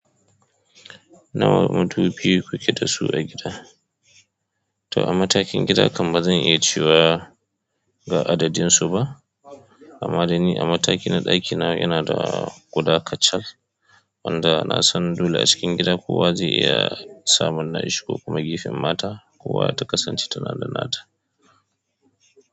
Nawa madubi kuke dasu a gida? To a matakin gida kam ba zan iya cewa ga adadin su ba amma dai ni a mataki na ɗaki na yana da guda kacal wanda nasan inda a cikin gida kowa ze iya samun nashi ko kuma gefen mata kowa ta kasance tana da nata.